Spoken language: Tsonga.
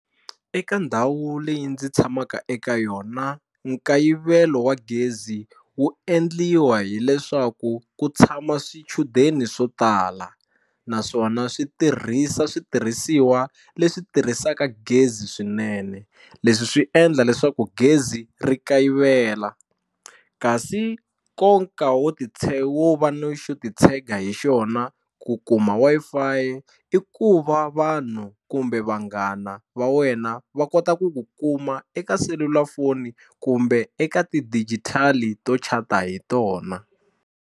Eka ndhawu leyi ndzi tshamaka eka yona nkayivelo wa gezi wu endliwa hileswaku ku tshama swichudeni swo tala naswona swi tirhisa switirhisiwa leswi tirhisaka gezi swinene leswi swi endla leswaku gezi ri kayivela kasi nkoka wo wo va no xo titshega hi xona ku kuma Wi-Fi i ku va vanhu kumbe vanghana va wena va kota ku ku kuma eka selulafoni kumbe eka tidigitali to chat-a hi tona.